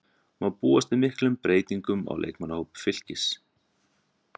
Má búast við miklum breytingum á leikmannahópi Fylkis?